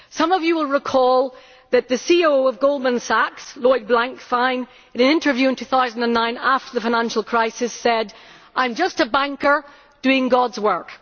Some of you will recall that the CEO of Goldman Sachs, Lloyd Blankfein, in an interview in 2009 after the financial crisis said I am just a banker doing God's work.'